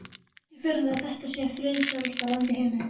Ekki furða að þetta sé friðsælasta land í heimi.